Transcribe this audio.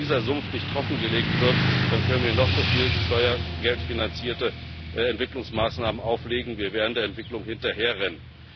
Wenn dieser Sumpf nicht trockengelegt wird, dann können wir noch so viele steuergeldfinanzierte Entwicklungsmaßnahmen auflegen wir werden der Entwicklung hinterherrennen.